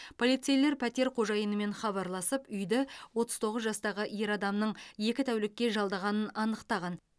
полицейлер пәтер қожайынымен хабарласып үйді отыз тоғыз жастағы ер адамның екі тәулікке жалдағанын анықтаған